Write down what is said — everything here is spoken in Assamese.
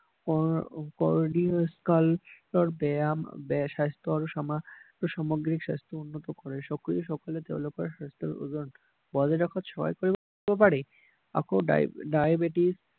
বেয়া স্বাস্থ্য আৰু সামগ্ৰিক স্বাস্থ্য উন্নত কৰে তেওঁলোকৰ স্বাস্থ্যৰ ওজন আকৌ ডাইবেটিছ